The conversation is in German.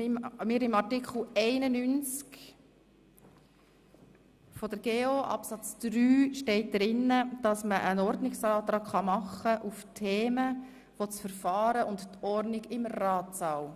Gemäss Artikel 91 Absatz 3 der GO ist es möglich, einen Ordnungsantrag zu stellen bei Themen, die sich auf das Verfahren und die Ordnung im Ratssaal